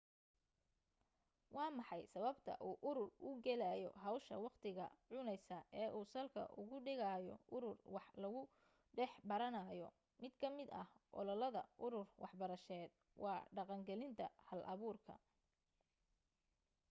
waa maxay sababta uu urur u gelayo hawsha waqtiga cunaysa ee uu salka ugu dhigayo urur wax lagu dhex baranayo mid ka mid ah yoolalka urur waxbarasheed waa dhaqangelinta halabuurka